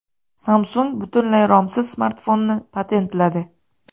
Samsung butunlay romsiz smartfonni patentladi.